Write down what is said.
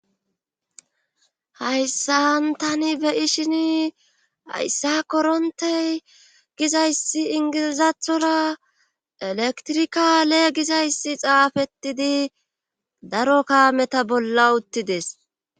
Hayssan tani beyishin hayssa korontey gizayssi ingilizathora elektrikale gizayssi xaafettidi daro kaameta bolla uttides.